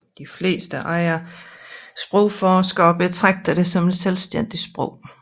De fleste andre sprogforskere betragter det som et selvstændigt sprog